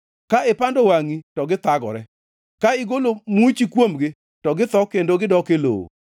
ka ipando wangʼi, to githagore; ka igolo muchi kuomgi, to githo kendo gidok e lowo.